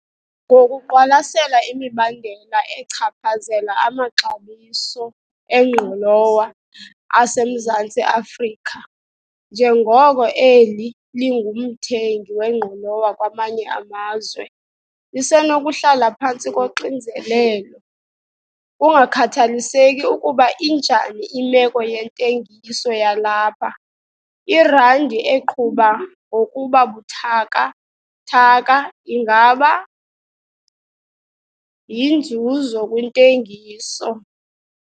Ngokuqwalasela imibandela echaphazela amaxabiso engqolowa aseMzantsi Afrika, njengoko eli lingumthengi wengqolowa kwamanye amazwe lisenokuhlala phantsi koxinzelelo, kungakhathaliseki ukuba injani imeko yentengiso yalapha, irandi eqhuba ngokuba buthathaka ingaba yinzuzo kwintengiso.